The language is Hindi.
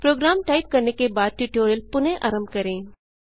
प्रोग्राम टाइप करने के बाद ट्यूटोरियल पुनः आरंभ करें